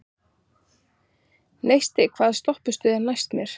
Neisti, hvaða stoppistöð er næst mér?